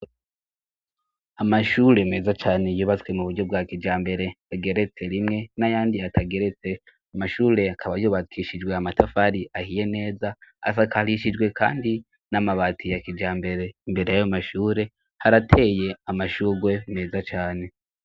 Amashure meza cane yubatswe mu buryo bwa kijambere ageretse rimwe n'ayandi atageretse. Amashure akaba yubakishijwe amatafari ahiye neza, asakarishijwe kandi n'amabati ya kijambere. Imbere yayo mashure harateye amashurwe meza cane.